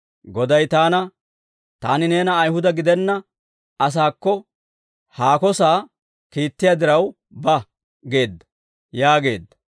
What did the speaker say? «Goday taana, ‹Taani neena Ayihuda gidenna asaakko haako sa'aa kiittiyaa diraw ba› geedda» yaageedda.